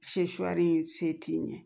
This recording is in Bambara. se t'i ɲɛ